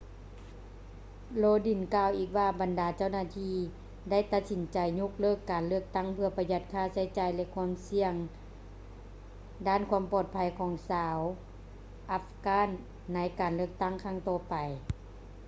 lodin ກ່າວອີກວ່າບັນດາເຈົ້າໜ້າທີ່ໄດ້ຕັດສິນໃຈຍົກເລີກການເລືອກຕັ້ງເພື່ອປະຢັດຄ່າໃຊ້ຈ່າຍ ແລະ ຄວາມສ່ຽງດ້ານຄວາມປອດໄພຂອງຊາວ afghans ໃນການເລືອກຕັ້ງຄັ້ງຕໍ່ໄປ